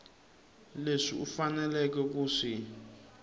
leswi u faneleke ku swi